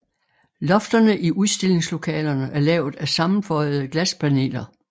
Lofterne i udstillingslokalerne er lavet af sammenføjede glaspaneler